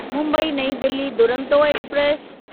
मुंबई नईं दिल्ली दुरंतो एक्सप्रेस